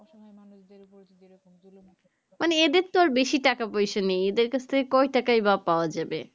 মানে এদের আর বেশি টাকা পয়সা নেই এদের কাছ থেকে কই টাকা বা পাওয়া যাবে